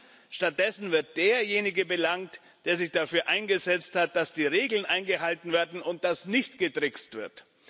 Nein, stattdessen wird derjenige belangt, der sich dafür eingesetzt hat, dass die Regeln eingehalten werden und dass nicht getrickst wird.